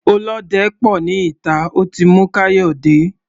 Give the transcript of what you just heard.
Olóde pò ní ìta, ó ti mú Kayode.